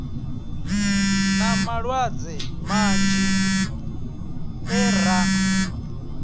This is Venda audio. na malwadze manzhi e ra